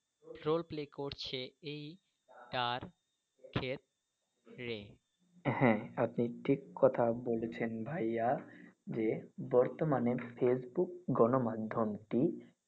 Role play করছে এইটার ক্ষেত্রে। হ্যাঁ আপনি ঠিক কথা বলেছেন ভাইয়া যে বর্তমানে face book গণ মাধ্যম টি।